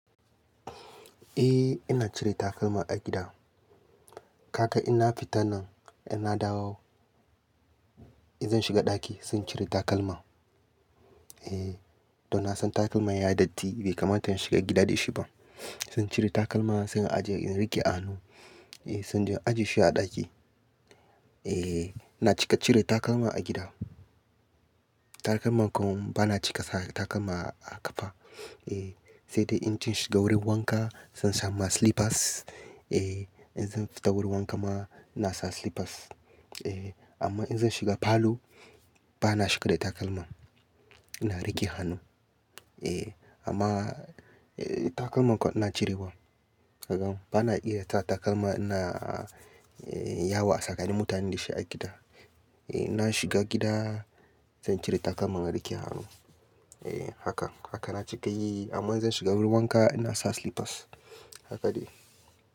Eh ina cire takalma a gida. Kaka ina fita nan ina dawo in zan shiga ɗaki zan cire takalma. Eh, to na san takalma yayi datti bai kamata in shiga gida da shi ba. Zan cire takalma zan ajiye in rike a hannu, eh zan je ajiye shi a ɗaki. Eh ina cika cire takalma a gida. Takalma kawai bana cika sa takalma a ƙafa. Eh sai dai in cin shiga wurin wanka zan sa ma slippers. Eh in zan fita wurin wanka ma na sa slippers. Eh amma in zan shiga falo bana shiga da takalma. Ina rike a hannu. Eh amma eh takalma kam ina cirewa. Kakam bana iya sa takalma ina yawo a tsakani mutane da shi a gida. Eh ina shiga gida zan cire takalma na rike a hannu. Eh haka, haka na cika yi amma in zan shiga wurin wanka ina sa slippers. Haka ne.